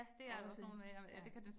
Og også ja